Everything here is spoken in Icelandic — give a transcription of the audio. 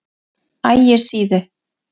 Ægissíðu